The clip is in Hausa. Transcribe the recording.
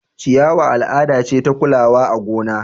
ciyawa al'ada ce ta kulawa a gona